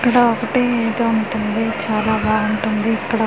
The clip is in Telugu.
ఇక్కడ ఒకటి ఇది ఉంటుంది చాలా బాగుంటుంది ఇక్కడ ఒక మొక్కలో.